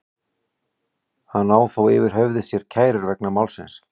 Hann á þó yfir höfði sér kærur vegna málsins.